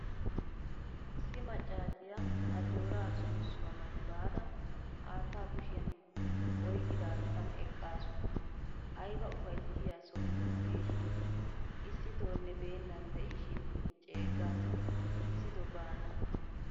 Issi maccasiyaa ajjoraa soosuwaa mati baada haattaa kushiyan oyqidatan eqqasu. Ayba ufayssiyaa soho hageeshin issitonne beenan deishin ceeggasi. Issito baana.